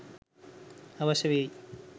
අවශ්‍ය වෙයි.